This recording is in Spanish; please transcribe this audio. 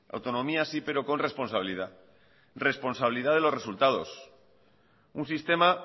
autonomía sí pero con responsabilidad responsabilidad de los resultados un sistema